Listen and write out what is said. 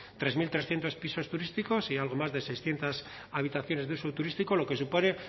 tres mil trescientos pisos turísticos y algo más de seiscientos habitaciones de uso turístico lo que supone